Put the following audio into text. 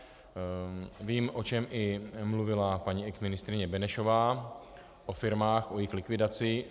Vím, o čem i mluvila paní exministryně Benešová, o firmách, o jejich likvidaci.